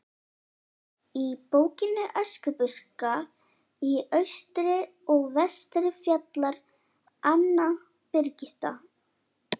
Í bókinni Öskubuska í austri og vestri fjallar Anna Birgitta